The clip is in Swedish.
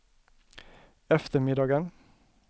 eftermiddagen